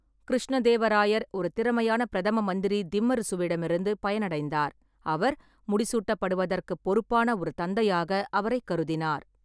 கிருஷ்ணதேவராயர் ஒரு திறமையான பிரதம மந்திரி திம்மருசுவிடமிருந்து பயனடைந்தார், அவர் முடிசூட்டப்படுவதற்குப் பொறுப்பான ஒரு தந்தையாக அவரைக் கருதினார்.